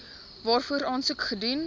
waarvoor aansoek gedoen